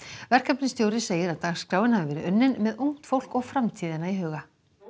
verkefnisstjóri segir að dagskráin hafi verið unnin með ungt fólk og framtíðina í huga